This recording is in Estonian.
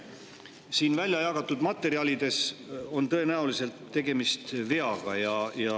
Siin väljajagatud materjalides on tõenäoliselt tegemist veaga.